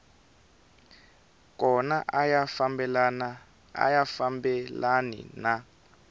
kona a ya fambelani na